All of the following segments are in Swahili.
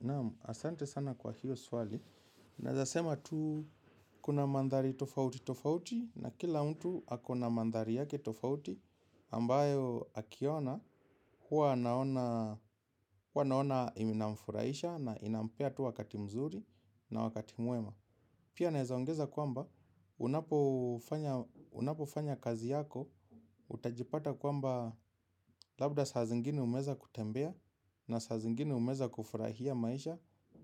Namu, asante sana kwa hiyo swali. Naezasema tu kuna mandhari tofauti tofauti na kila mtu akona mandhari yake tofauti ambayo akiona huwa anaona inamfuraisha na inampea tu wakati mzuri na wakati mwema. Pia naezaongeza kwamba unapofanya kazi yako utajipata kwamba labda saa zingine umeweza kutembea. Na saa zingine umeweza kufurahia maisha.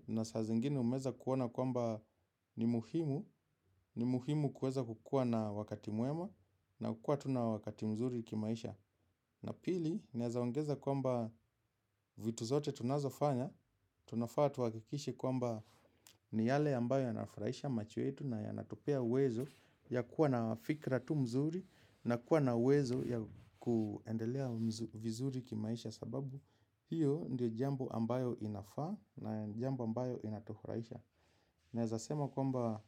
Na saa zingine umeweza kuona kwamba ni muhimu. Ni muhimu kuweza kukuwa na wakati mwema. Na kukua tuna wakati mzuri kimaisha. Na pili, naeza ongeza kwamba vitu zote tunazo fanya. Tuna faa tuhakikishe kwamba ni yale ambayo yanafurahisha macho yetu. Na yanatupea uwezo ya kuwa na fikra tu mzuri. Na kuwa na uwezo ya kuendelea vizuri kimaisha sababu hiyo ndiyo jambo ambayo inafaa na jambo ambayo inatufuraisha. Naezasema kwamba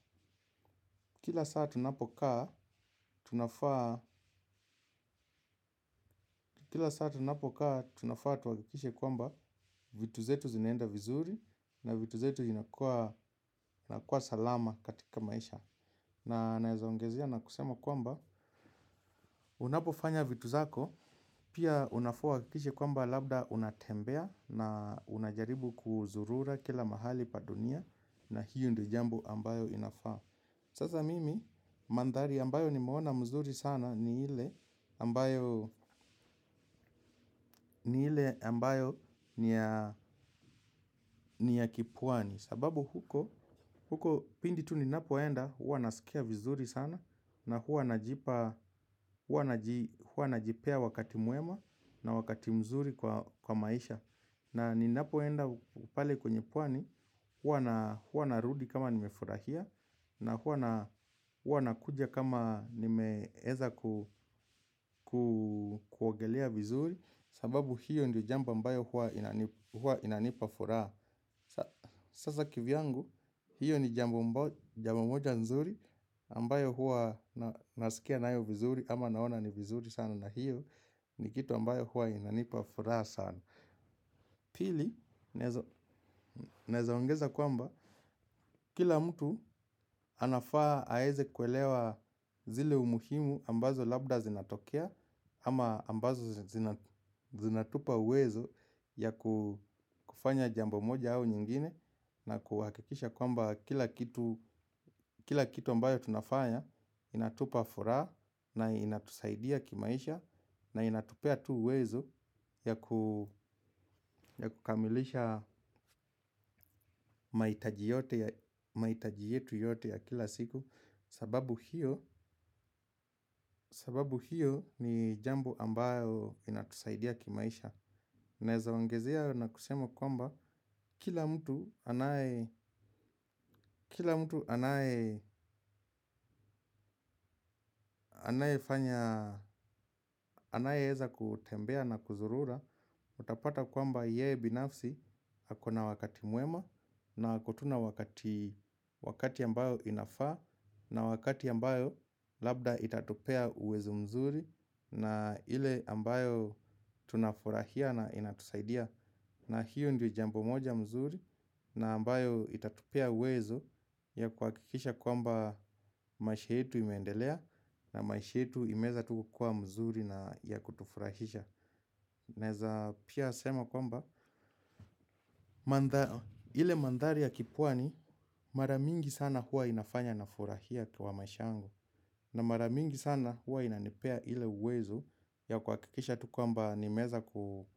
kila saa tunapokaa tunafaa tunapokaa tunafaa tuhakikishe kwamba vitu zetu zinaenda vizuri na vitu zetu inakuwa salama katika maisha. Na naeza ongezea na kusema kwamba unapofanya vitu zako pia unafaa uhakikishe kwamba labda unatembea na unajaribu kuzurura kila mahali pa dunia. Na hiyo ndo jambu ambayo inafaa. Sasa mimi mandhari ambayo nimeona mzuri sana ni ile ambayo ni ya ni ya kipwani. Sababu huko pindi tu ninapoenda huwa naskia vizuri sana. Na huwa najipa, huwa najipea wakati mwema na wakati mzuri kwa maisha. Na ninapoenda pale kwenye pwani huwa narudi kama nimefurahia na huwa nakuja kama nimeeza kuogelea vizuri. Sababu hiyo ndiyo jambo ambayo huwa inanipa furaha. Sasa kivyangu, hiyo ni jambo moja nzuri ambayo huwa naskia nayo vizuri ama naona ni vizuri sana na hiyo. Ni kitu ambayo huwa inanipa furaha sana. Pili, naezaongeza kwamba kila mtu anafaa aeze kuelewa zile umuhimu ambazo labda zinatokea ama ambazo zinatupa uwezo ya kufanya jambo moja au nyingine na kuhakikisha kwamba kila kitu ambayo tunafanya inatupa furaha na inatusaidia kimaisha na inatupea tu uwezo ya kukamilisha mahitaji yetu yote ya kila siku sababu hio. Sababu hiyo ni jambo ambayo inatusaidia kimaisha. Naeza ongezea na kusema kwamba kila mtu kila mtu anaye fanya, anaye eza kutembea na kuzurura. Utapata kwamba yeye binafsi akona wakati mwema. Na ako tuna wakati wakati ambayo inafaa. Na wakati ambayo labda itatupea uwezo mzuri. Na ile ambayo tunafurahia na inatusaidia na hiyo ndio jambo moja mzuri. Na ambayo itatupea uwezo ya kuhakikisha kwamba maisha yetu imeendelea. Na maisha yetu imeeza tu kukuwa mzuri na ya kutufurahisha. Naeza pia sema kwamba ile mandhali ya kipwani maramingi sana huwa inafanya na furahia kwa maisha yangu. Na mara mingi sana huwa inanipea ile uwezo ya kuha kikisha tu kwamba nimeeza ku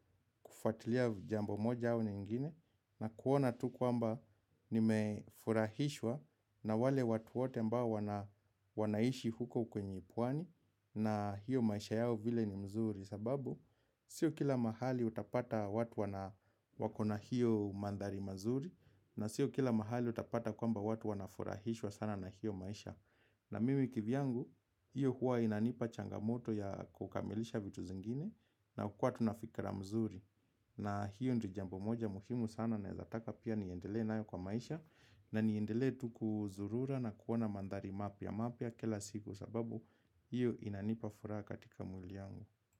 kufuatilia jambo moja au nyingine na kuona tu kwamba nimefurahishwa na wale watu wote ambao wanaishi huko kwenye pwani na hiyo maisha yao vile ni mzuri sababu sio kila mahali utapata watu wana wakona hiyo mandhari mazuri na sio kila mahali utapata kwamba watu wanafurahishwa sana na hiyo maisha. Na mimi kivyangu, hiyo huwa inanipa changamoto ya kukamilisha vitu zingine na kukua tunafikra mzuri. Na hiyo ndio jambo moja muhimu sana naezataka pia niendelee nayo kwa maisha na niendelee tu ku zurura na kuona mandhari mapya mapya kila siku sababu hiyo inanipa furaha katika mwiliyangu.